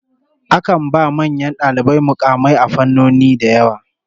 Akan ba manyan dalibai mukamai a fannoni da yawa.